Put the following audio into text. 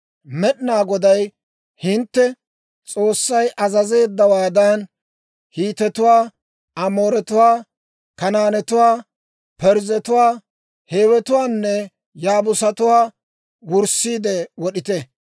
Med'inaa Goday hintte S'oossay azazeeddawaadan, Hiitetuwaa, Amooretuwaa, Kanaanetuwaa, Parzzetuwaa, Hiiwetuwaanne Yaabuusatuwaa wurssiide wod'ite.